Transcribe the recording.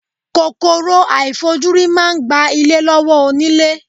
Kòkòrò àìfojúrí máa ń gba ilé lọ́wọ́ onílé.